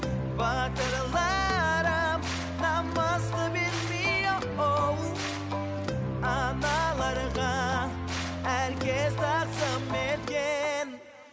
батырларым намысты бермей аналарға әр кез тағзым еткен